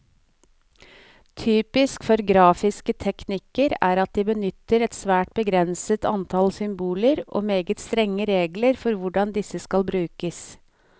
Typisk for grafiske teknikker er at de benytter et svært begrenset antall symboler, og meget strenge regler for hvordan disse skal brukes.